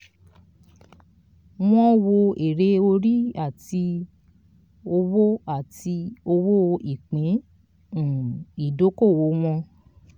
"wọ́n wo èrè orí àti owó àti owó ìpín um ìdókòwò wọn."